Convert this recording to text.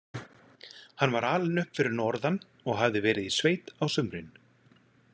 Hann var alinn upp fyrir norðan og hafði verið í sveit á sumrin.